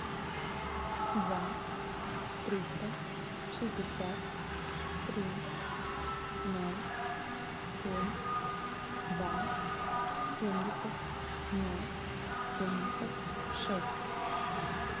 два триста шестьдесят три ноль семь два семьдесят ноль семьдесят шесть